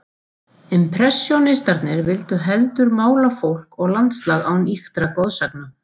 Impressjónistarnir vildu heldur mála fólk og landslag án ýktra goðsagna.